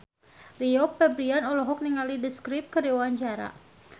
Rio Febrian olohok ningali The Script keur diwawancara